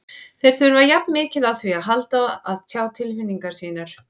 Þeir þurfa jafn mikið á því að halda að tjá tilfinningar sínar.